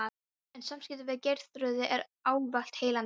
En samskipti við Geirþrúði eru ávallt heillandi frjó.